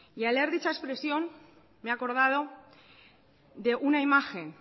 y al leer dicha expresión me he acordado de una imagen